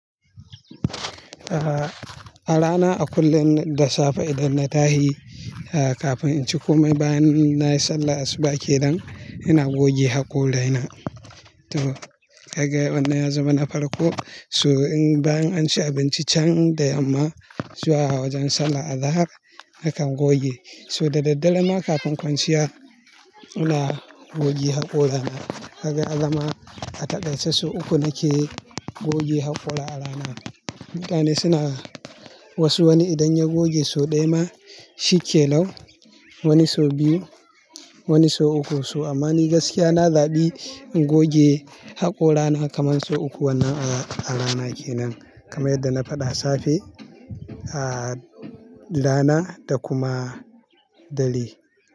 Ah, a rana a kulle da safe idan na tahi, ah kafin in ci ko mai bayan na yi sallah asuba ke nan, ina goge haƙorana. To, daga wannan ya zamana farko, so in bayan an ci abinci can da yamma, zuwa wajen sallah azahar na kan goge. So dadaddare ma kafin kwanciya, ina goge haƙorana. Kaga ya zama a takaice sau uku nake goge haƙora arana. Mutane suna wasu wani idan ya goge sau ɗaya ma shi kenan, wani sau biyu, wani sau uku. So ammani gaskiya na zaɓi in goge haƙorana kamar sau uku wannan arana kenan, kamar yadda na faɗa safe, ah rana da kuma dare.